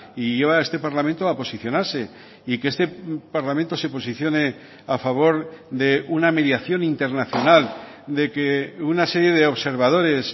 y lleva a este parlamento a posicionarse y que este parlamento se posicione a favor de una mediación internacional de que una serie de observadores